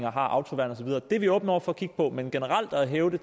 er autoværn og så videre det er vi åbne over for at kigge på men generelt at hæve